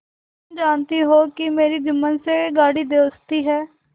तुम जानती हो कि मेरी जुम्मन से गाढ़ी दोस्ती है